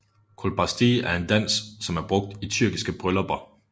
Kolbasti er en dans som er brugt i tyrkiske bryllupper